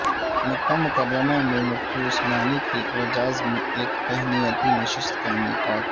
مکہ مکرمہ میں مفتی عثمانی کے اعزاز میں ایک تہنئتی نششت کا انعقاد